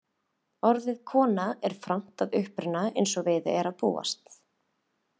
Orðið kona er fornt að uppruna eins og við er að búast.